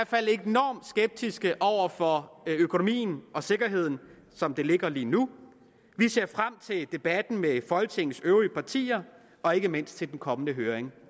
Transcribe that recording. fald enormt skeptiske over for økonomien og sikkerheden som det ligger lige nu vi ser frem til debatten med folketingets øvrige partier og ikke mindst til den kommende høring